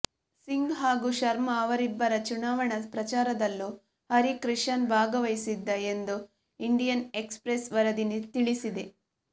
ಸಿಂಗ್ ಹಾಗು ಶರ್ಮ ಅವರಿಬ್ಬರ ಚುನಾವಣಾ ಪ್ರಚಾರದಲ್ಲೂ ಹರಿ ಕ್ರಿಶನ್ ಭಾಗವಹಿಸಿದ್ದ ಎಂದು ಇಂಡಿಯನ್ ಎಕ್ಸಪ್ರೆಸ್ ವರದಿ ತಿಳಿಸಿದೆ